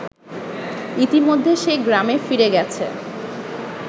ইতিমধ্যে সে গ্রামে ফিরে গেছে